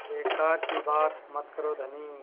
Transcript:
बेकार की बात मत करो धनी